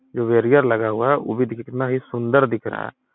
जो बैरियर लगा हुआ है वो कितना ही सुंदर दिख रहा हैं।